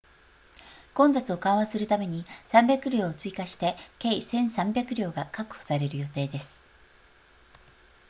混雑を緩和するために300両を追加して計 1,300 両が確保される予定です